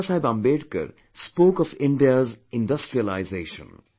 Baba Saheb Ambedkar spoke of India's industrialization